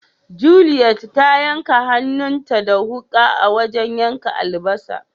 Juliet ta yanka hannun ta da wuka a wajen yankan albasa.